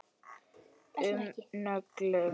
um nöglum.